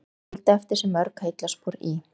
Hann skildi eftir sig mörg heillaspor í